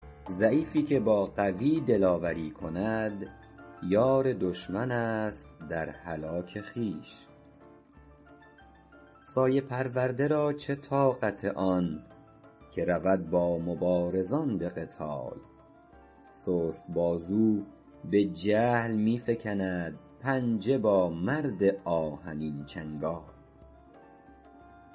ضعیفی که با قوی دلاوری کند یار دشمن است در هلاک خویش سایه پرورده را چه طاقت آن که رود با مبارزان به قتال سست بازو به جهل می فکند پنجه با مرد آهنین چنگال